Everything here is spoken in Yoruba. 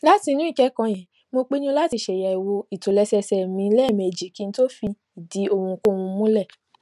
látinú ìkékòó yẹn mo pinnu láti ṣàyèwò ìtòlésẹẹsẹ mi léèmejì kí n tó fìdí ohunkóhun múlè